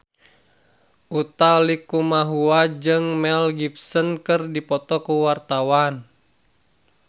Utha Likumahua jeung Mel Gibson keur dipoto ku wartawan